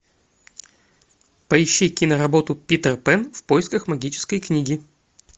поищи киноработу питер пэн в поисках магической книги